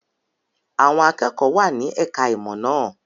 Àwọn akẹ́kọ̀ọ́ wà ní ẹ̀ka-ìmọ̀ náà.